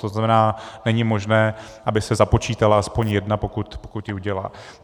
To znamená, není možné, aby se započítala aspoň jedna, pokud ji udělá.